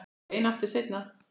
Ég reyni aftur seinna